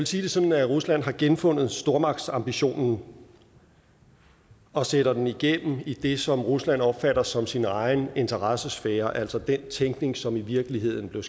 sige det sådan at rusland har genfundet stormagtsambitionen og sætter den igennem i det som rusland opfatter som sin egen interessesfære altså den tænkning som i virkeligheden blev